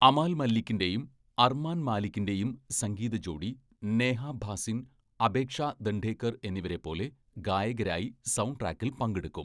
അമാൽ മല്ലിക്കിന്റെയും അർമാൻ മാലിക്കിന്റെയും സംഗീത ജോഡി നേഹ ഭാസിൻ, അപേക്ഷ ദണ്ഡേക്കർ എന്നിവരെപ്പോലെ ഗായകരായി സൗണ്ട്ട്രാക്കിൽ പങ്കെടുക്കും.